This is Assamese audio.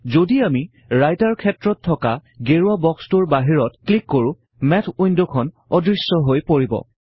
যদি আমি ৰাইটাৰ ক্ষেত্ৰত থকা গেৰুৱা বক্সটোৰ বাহিৰত ক্লিক কৰোঁ মেথ উইন্ডখন অদৃশ্য হৈ পৰিব